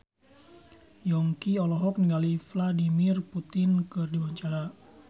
Yongki olohok ningali Vladimir Putin keur diwawancara